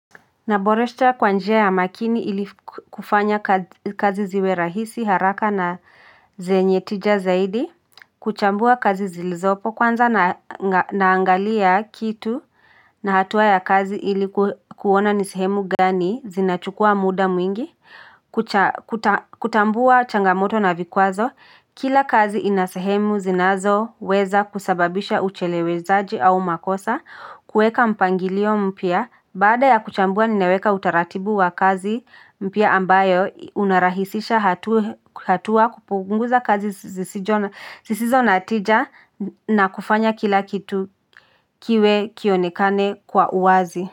Naboresha kwa njia ya makini ili kufanya kazi ziwe rahisi haraka na zenye tija zaidi, kuchambua kazi zilizopo kwanza na naangalia kitu na hatua ya kazi ili kuona ni sehemu gani zinachukua muda mwingi, kutambua changamoto na vikwazo kila kazi ina sehemu zinazo weza kusababisha ucheleweshaji au makosa kuweka mpangilio mpya baada ya kuchambua ninaweka utaratibu wa kazi mpya ambayo unarahisisha hatua kupunguza kazi ziisizo na tija na kufanya kila kitu kiwe kionekane kwa uwazi.